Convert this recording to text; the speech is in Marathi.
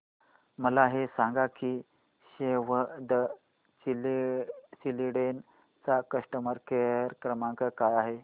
मला हे सांग की सेव्ह द चिल्ड्रेन चा कस्टमर केअर क्रमांक काय आहे